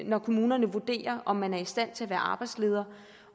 når kommunerne vurderer om man er i stand til at være arbejdsleder